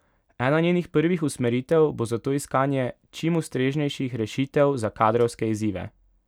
Ena njenih prvih usmeritev bo zato iskanje čim ustreznejših rešitev za kadrovske izzive.